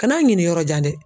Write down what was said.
Kan'a ɲini yɔrɔ jan dɛ.